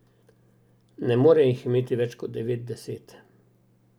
Ne more jih imeti več kot devet, deset.